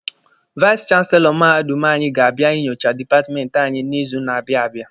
Vais chanselọ mahadum anyị ga-abịa inyocha dipatmenti anyị n'izu na-abịa abịa.